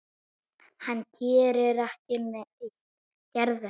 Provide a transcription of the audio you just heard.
Hann gerði ekki neitt.